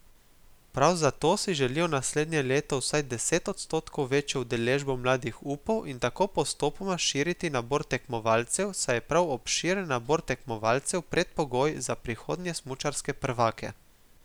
Prav zato si želijo naslednje leto vsaj deset odstotkov večjo udeležbo mladih upov in tako postopoma širiti nabor tekmovalcev, saj je prav obširen nabor tekmovalcev predpogoj za prihodnje smučarske prvake.